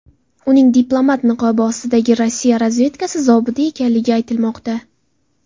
Uning diplomat niqobi ostidagi Rossiya razvedkasi zobiti ekanligi aytilmoqda.